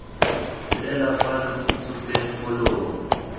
fela fa lo tsupeng molomo